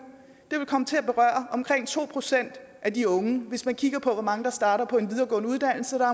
vil komme til at berøre omkring to procent af de unge hvis man kigger på hvor mange unge der starter på en videregående uddannelse